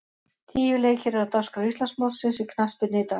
Tíu leikir eru á dagskrá Íslandsmótsins í knattspyrnu í dag.